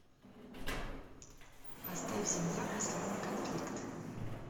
поставь земля последний конфликт